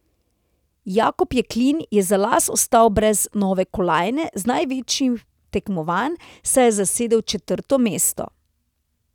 Jakob Jeklin je za las ostal brez nove kolajne z največjih tekmovanj, saj je zasedel četrto mesto.